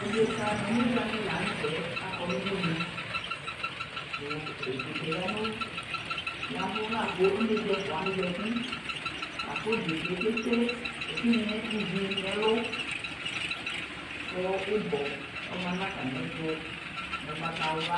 ɔdɛka nʋ ɔnɛdza dilantɛ, akɔ nʋʋdʋnʋ kʋ ɛdɛkaɛ yavʋ kʋ ɔnɛdza ɛƒʋa wani zati, lakʋ ɛdɛkaɛ kɛ twɛ ɛtinyaɛ ivi nʋ ɛlʋ kʋ ibɔ ɔma nʋ atami ɛtʋ nʋ ɔgbata wla,